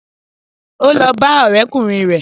Ó lọ bá ọ̀rẹ́kùnrin rẹ̀